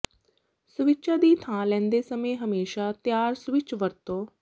ਸਵਿੱਚਾਂ ਦੀ ਥਾਂ ਲੈਂਦੇ ਸਮੇਂ ਹਮੇਸ਼ਾ ਤਿਆਰ ਸਵਿਚ ਵਰਤੋ